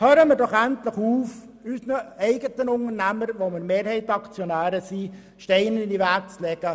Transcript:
Hören wir doch endlich auf, unseren eigenen Unternehmungen, bei welchen wir Mehrheitsaktionäre sind, Steine in den Weg zu legen!